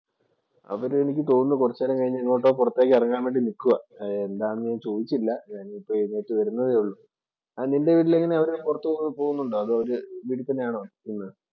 അവര് എനിക്ക് തോന്നുന്നു കൊറച്ചു നേരം കൂടി കഴിഞ്ഞാ എങ്ങോട്ടോ പൊറത്തേക്ക് എറങ്ങാന്‍ വേണ്ടി നിക്കുവാ.